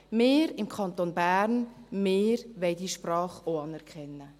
«Wir im Kanton Bern, wir wollen diese Sprache auch anerkennen.